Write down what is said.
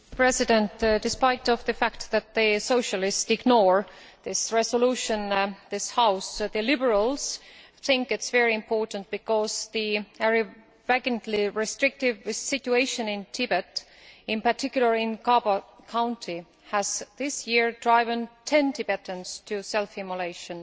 Mr President, despite the fact that the Socialists are ignoring this resolution in this House, the Liberals think it is very important because the blatantly restrictive situation in Tibet, in particular in Ngaba county, has this year driven ten Tibetans to self immolation.